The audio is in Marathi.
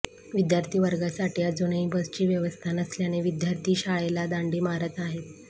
विद्यार्थी वर्गासाठी अजूनही बसची व्यवस्था नसल्याने विद्यार्थी शाळेला दांडी मारत आहेत